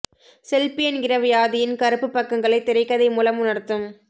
selfie என்கிற வியாதியின் கருப்புப் பக்கங்களை திரைக்கதை மூலம் உணர்த்தும்